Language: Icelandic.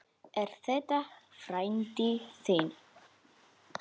Er þetta frændi þinn?